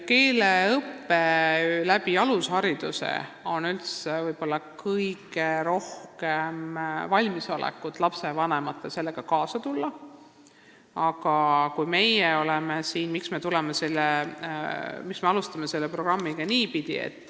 Lapsevanematel on võib-olla kõige rohkem valmisolekut selleks, et keeleõppega alushariduses kaasa tulla.